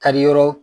Kari yɔrɔ